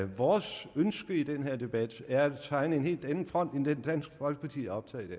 vores ønske i den her debat er at tegne en helt anden front end den dansk folkeparti er optaget af